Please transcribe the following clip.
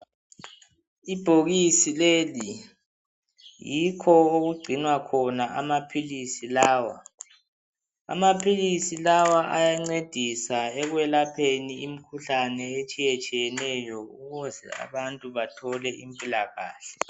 Ibhokisi leli yikho okungcinwa khona amaphilisi lawa. Amaphilizi lawa ayancedisa ekwelapheni imkhuhlane etshiyetshiyeneyo ukuze abantu bathole impilakahle.